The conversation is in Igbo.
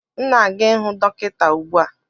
M na-aga ihụ dọkịta ugbu a